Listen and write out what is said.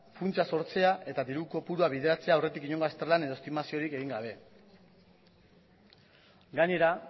funtsa sortzea eta diru kopurua bideratzea aurretik inongo azterlan edo estimaziorik egin gabe gainera